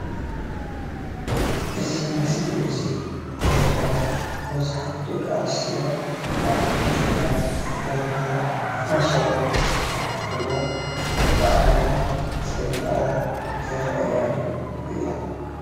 እዚ ምስሊ እዙይ ዘርእየና ቡዙሓት ደቅኣንስትዮ ሓደ ዓይነት ክዳን ወይ ድማ ፋሽን ዝብሃል ተከዲነን ማዕሪገንን ጸቢቀንን ዝረኣያሉ እዩ።